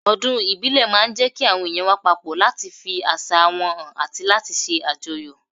Ọdún ìbílẹ̀ máa ń jẹ́ kí àwọn èèyàn wà papọ̀ láti fi àṣà wọn hàn àti láti ṣe àjọyọ̀